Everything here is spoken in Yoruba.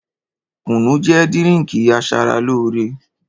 Kúnù jẹ dírińkì àsàràlòrẹ.